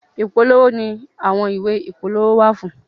Ipolowo ni àwọn ìwé ìpolówó wà fún.